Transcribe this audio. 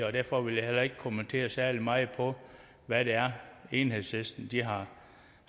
det derfor vil jeg heller ikke kommentere særlig meget hvad det er enhedslisten har